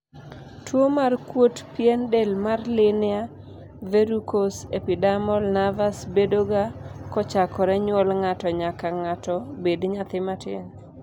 tuo mar kuot pien del mar linear verrucous epidermal nevus bedoga kochakore nyuol ng'ato nyaka ng'ato bed nyathi ma tin